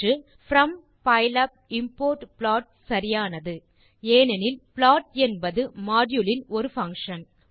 option from pylab import plot சரியானது ஏனெனில் plot என்பது மாடியூல் மாடியூல் இன் ஒரு பங்ஷன்